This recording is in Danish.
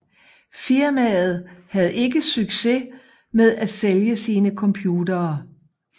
Firmaet havde ikke succes med at sælge sine computere